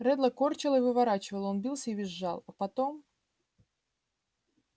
реддла корчило и выворачивало он бился и визжал а потом